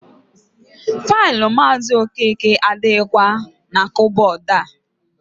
Faịlụ Maazị Okeke adịghịkwa na kabọọdụ a.